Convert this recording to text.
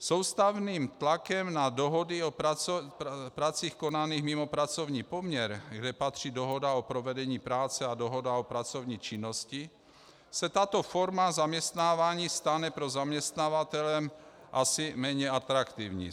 Soustavným tlakem na dohody o pracích konaných mimo pracovní poměr, kam patří dohoda o provedení práce a dohoda o pracovní činnosti, se tato forma zaměstnávání stane pro zaměstnavatele asi méně atraktivní.